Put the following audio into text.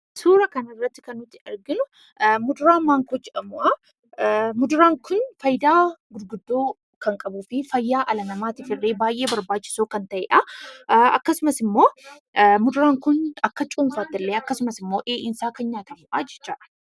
Suura kana irratti kan nuti arginu muduraa maangoo jedhamudha. Muduraan kun faayidaa guddoo kan qabuu fi fayyaa dhala namaatiif illee baay'ee barbaachisoo kan ta'edha; akkasumas immoo muduraan kun akka cuunfamaattillee akkasumas immoo dheedhiin isaa kan nyaatamudha jechaadha.